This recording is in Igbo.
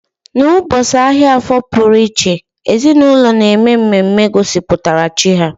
N'ụbọchị ahịa afo pụrụ iche, ezinaụlọ na-eme mmemme gosipụtara chi ha